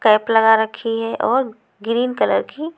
cap लगा रखी है और ग्रीन कलर की--